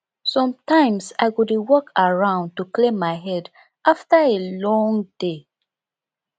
sometimes i go dey walk around to clear my head after a long day